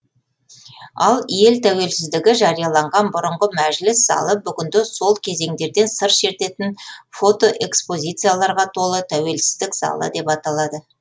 ал ел тәуелсіздігі жарияланған бұрынғы мәжіліс залы бүгінде сол кезеңдерден сыр шертетін фотоэкспозицияларға толы тәуелсіздік залы деп аталады